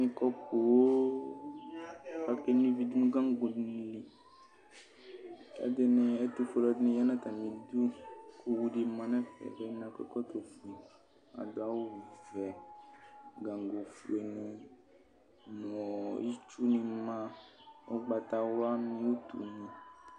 Iko poo akeno ivi dʋnʋ gangoli kʋ ɛtʋfuele ɛdini yanʋ atami idʋ kʋ owʋ ni manʋ ɛfɛ kʋ akɔ ɛkɔtɔ fue kʋ adʋ awʋvɛ gango fueni nʋ itsʋni ma ʋgbatawla ni nʋ utuni